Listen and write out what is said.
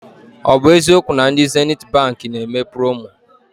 Ọ bụ eziokwu na ndị Zenithi Baankị na eme promo?